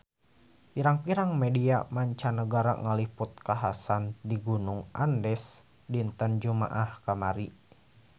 Pirang-pirang media mancanagara ngaliput kakhasan di Gunung Andes dinten Jumaah kamari